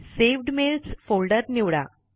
सवेद mails folder निवडा